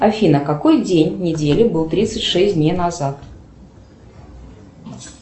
афина какой день недели был тридцать шесть дней назад